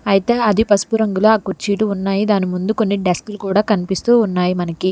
అయితే అది పసుపు రంగులో ఆ కుర్చీలు ఉన్నాయి దాని ముందు కొన్ని డెస్క్లు కూడా కనిపిస్తూ ఉన్నాయి మనకి.